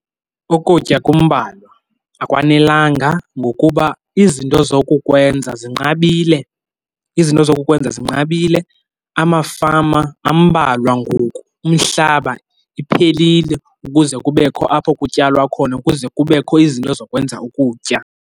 Ukutya kumbalwa, akwanelanga ngokuba izinto zokukwenza zinqabile, izinto zokukwenza zinqabile amafama ambalwa ngoku. Umhlaba, iphelile ukuze kubekho apho kutyalwa khona kuze kubekho izinto zokwenza ukutya.